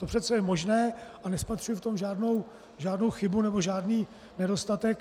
To přece je možné a nespatřuji v tom žádnou chybu nebo žádný nedostatek.